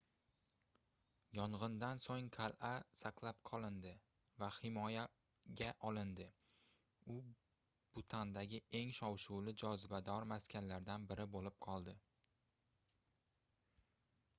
yongʻindan soʻng qalʼa saqlab qolindi va himoyaga olindi u butandagi eng shov-shuvli jozibador maskanlaridan biri boʻlib qoldi